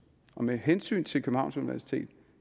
med hensyn til københavns universitet